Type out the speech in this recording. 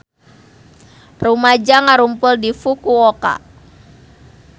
Rumaja ngarumpul di Fukuoka